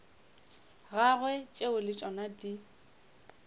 gagwe tšeo le tšona di